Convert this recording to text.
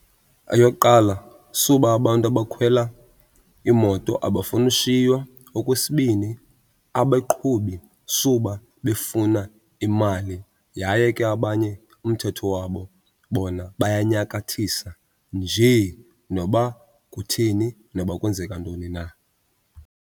Eyokuqala suba abantu abakhwela iimoto abafuni ushiywa. Okwesibini, abeqhubi suba befuna imali yaye ke abanye umthetho wabo bona bayanyakathisa njee noba kutheni noba kwenzeka ntoni na.